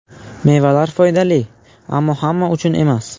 Mevalar foydali, ammo hamma uchun emas.